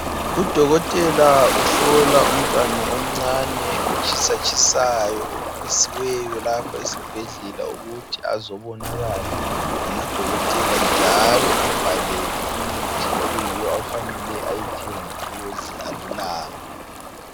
Udokotela uhlola umntwana omncane, otshisatshisayo obisiweyo lapho esibhedlela ukuthi azobonakala ngamadokotela njalo embhalele imithi okuyiyo afanele ayithenge ukuze alulame.